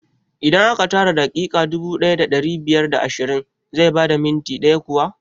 Idan aka tara daƙiƙa dubu ɗaya da ɗari biyar da ashirin zai bada minti ɗaya kuwa?